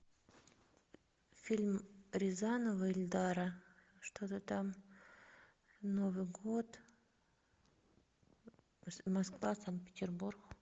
фильм рязанова эльдара что то там новый год москва санкт петербург